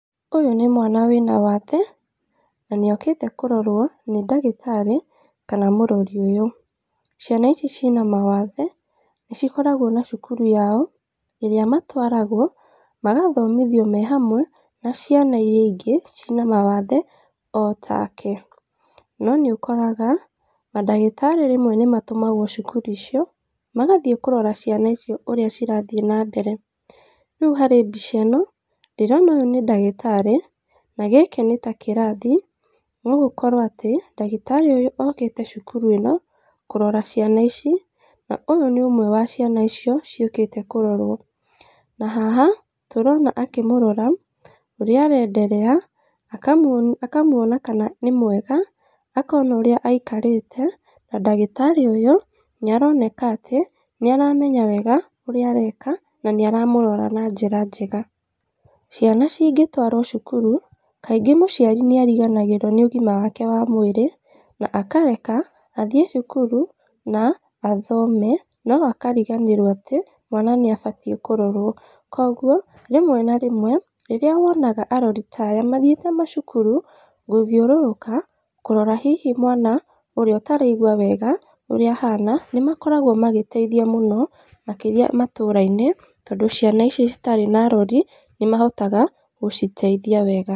Ũyũ nĩ mwana wĩna waathe, na nĩ okĩte kũrorwo nĩ ndagĩtarĩ kana mũrori ũyũ. Ciana ici cina mawathe nĩ cikoragwo na cukuru yao, ĩrĩa matwaragwo magathomithio me hamwe na ciana iria ingĩ ciĩna mawathe o take. No nĩ ũkoraga mandagĩtarĩ rĩmwe nĩ matũmagwo cukuru icio, magathiĩ kũrora ciana icio ũrĩa cirathiĩ na mbere. Rĩu harĩ mbica ĩno, ndĩrona ũyũ nĩ ndagĩtarĩ na gĩkĩ nĩ ta kĩrathi, no gũkorwo atĩ, ndagĩtarĩ ũyũ okĩte cukuru ĩno kũrora ciana ici, na ũyũ nĩ ũmwe wa ciana icio ciũkĩte kũrorwo. Na haha tũrona akĩmũrora ũrĩa arenderea, akamuona kana nĩ mwega, akona ũrĩa aikarĩte, na ndagĩtarĩ ũyũ nĩ aroneka atĩ nĩ aramenya wega ũrĩa areka na nĩ aramũrora na njĩra njega. Ciana cingĩtwarwo cukuru, kaingĩ mũciari nĩ ariganagĩrwo nĩ ũgima wake wa mwĩrĩ, na akareka athiĩ cukuru na athome no akariganĩrwo atĩ mwana nĩ abatiĩ kũrorwo. Koguo rĩmwe na rĩmwe rĩrĩa wonaga arori ta aya mathiĩte macukuru gũthiũrũrũka, kũrora hihi mwana ũrĩa ũtaraigua wega ũrĩa ahana nĩ makoragwo magĩteithia mũno makĩria matũũra-inĩ, tondũ ciana ici citarĩ na arori nĩ mahotaga gũciteithia wega.